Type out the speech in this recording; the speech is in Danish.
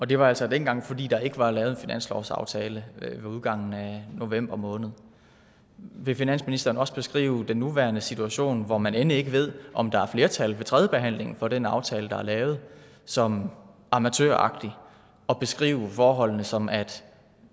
det var altså dengang fordi der ikke var lavet en finanslovsaftale ved udgangen af november måned vil finansministeren også beskrive den nuværende situation hvor man end ikke ved om der er flertal ved tredjebehandlingen for den aftale der er lavet som amatøragtig og beskrive forholdene som at